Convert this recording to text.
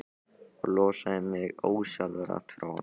Og losaði mig ósjálfrátt frá honum.